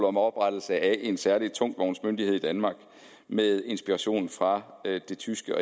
om oprettelse af en særlig tungtvognsmyndighed i danmark med inspiration fra det tyske